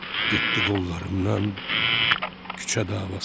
getdi qollarımdan küçə davası.